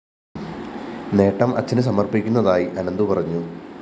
നേട്ടം അച്ഛനു സമര്‍പ്പിക്കുന്നതായി അനന്തു പറഞ്ഞു